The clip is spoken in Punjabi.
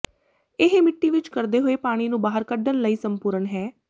ਇਹ ਮਿੱਟੀ ਵਿਚ ਕਰਦੇ ਹੋਏ ਪਾਣੀ ਨੂੰ ਬਾਹਰ ਕੱਢਣ ਲਈ ਸੰਪੂਰਨ ਹੈ